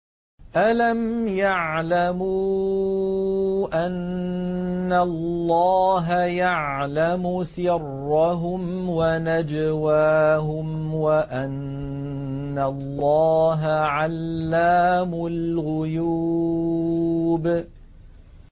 أَلَمْ يَعْلَمُوا أَنَّ اللَّهَ يَعْلَمُ سِرَّهُمْ وَنَجْوَاهُمْ وَأَنَّ اللَّهَ عَلَّامُ الْغُيُوبِ